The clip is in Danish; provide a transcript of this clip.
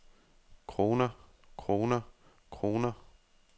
kroner kroner kroner